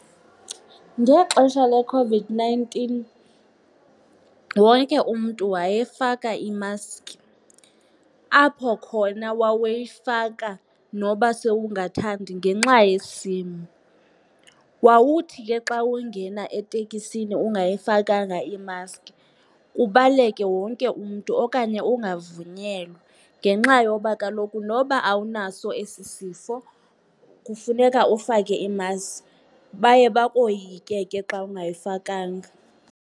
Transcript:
Ngexesha leCOVID-nineteen wonke umntu wayefaka imaski apho khona wawuyifaka noba sewungathandi ngenxa yesimo. Wawuthi ke xa ungena etekisini ungayifakanga imaski, kubaleke wonke umntu okanye ungavunyelwa ngenxa yoba kaloku noba awunaso esi sifo kufuneka ufake imaski. Baye bakoyike ke xa ungayifakanga.